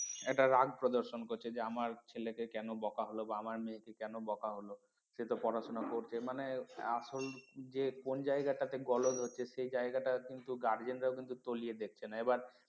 একটা রাগ প্রদর্শন করছে যে আমার ছেলেকে কেন বকা হল বা আমার মেয়ে কে কেন বকা হল সে তো পড়াশোনা করছে মানে আসল যে কোন জায়গাটাতে গলদ হচ্ছে সেই জায়গাটা কিন্তু guardian রা কিন্তু তলিয়ে দেখছে না এবার